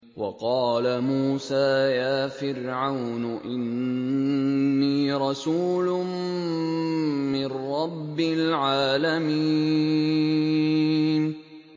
وَقَالَ مُوسَىٰ يَا فِرْعَوْنُ إِنِّي رَسُولٌ مِّن رَّبِّ الْعَالَمِينَ